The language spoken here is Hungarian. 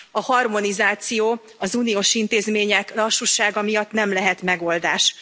A harmonizáció az uniós intézmények lassúsága miatt nem lehet megoldás.